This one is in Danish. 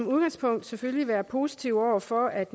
udgangspunktet selvfølgelig være positive over for at